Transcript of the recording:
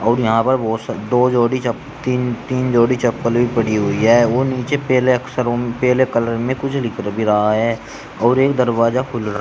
और यहां पर बहोत सारी दो जोड़ी चप तीन तीन जोड़ी चप्पल भी पड़ी हुई है व नीचे पेहले अक्षरों में पेहले कलर में कुछ लिख भी रहा है और एक दरवाजा खुल--